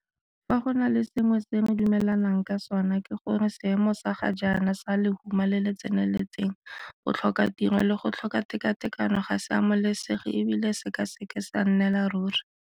Fa go na le sengwe se re dumelanang ka sona, ke gore seemo sa ga jaana sa lehuma le le tseneletseng, botlhokatiro le go tlhoka tekatekano ga se amogelesege e bile se ka se ke sa nnela ruri.